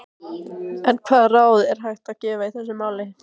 En hvaða ráð er hægt að gefa í þessu máli?